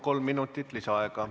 Kolm minutit lisaaega.